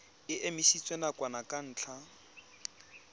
e emisitswe nakwana ka ntlha